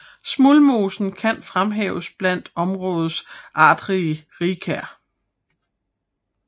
Smuldmosen kan fremhæves blandt områdets artsrige rigkær